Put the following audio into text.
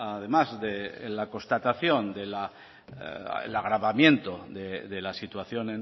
además de la constatación del agravamiento de la situación